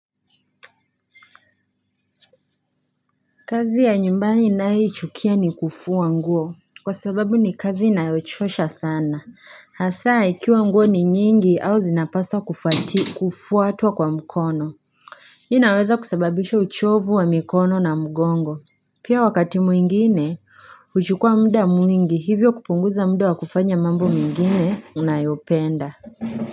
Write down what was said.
Kazi ya nyumbani ninayoichukia ni kufua nguo kwa sababu ni kazi inayochosha sana hasaa ikiwa nguo ni nyingi au zinapaswa kufua hata kwa mkono inaweza kusababisha uchovu wa mikono na mgongo pia wakati mwingine huchukua muda mwingi hivyo kupunguza muda wa kufanya mambo mengine unayopenda.